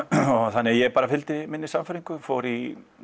þannig ég bara fylgdi minni sannfæringu fór í